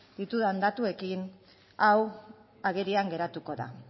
ditudan datuekin hau agerian geratuko da